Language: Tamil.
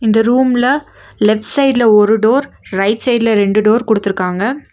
இந்த ரூம்ல லெஃப்ட் சைட்ல ஒரு டோர் ரைட் சைட்ல ரெண்டு டோர் குடுத்துருக்காங்க.